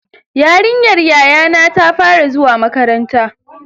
Yarinyar yayana ta fara zuwa makaranta.